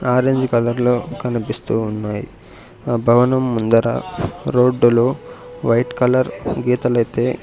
orange colour లో కనిపిస్తు ఉన్నాయ్ ఆ భవనం ముందర రోడ్డు లో వైట్ కలర్ గీతలు అయితే --